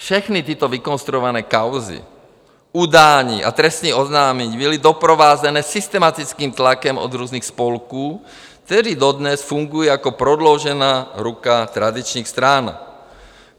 Všechny tyto vykonstruované kauzy, udání a trestní oznámení byly doprovázeny systematickým tlakem od různých spolků, které dodnes fungují jako prodloužená ruka tradičních stran.